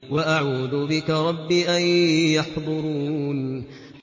وَأَعُوذُ بِكَ رَبِّ أَن يَحْضُرُونِ